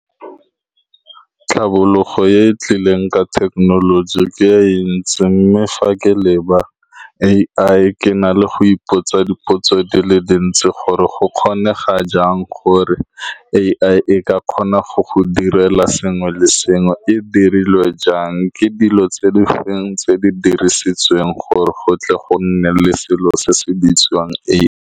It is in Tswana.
Tlhabologo e e tlileng ka thekenoloji ke e ntsi, mme fa ke leba A_I, ke na le go ipotsa dipotso di le dintsi, gore go kgonega jang gore A_I e ka kgona go go direla sengwe le sengwe, e dirilwe jang, ke dilo tse di feng tse di dirisitsweng gore go tle go nne le selo se se bitswang .